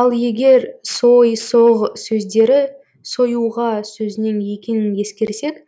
ал егер сой соғ сөздері сойуға сөзінен екенің ескерсек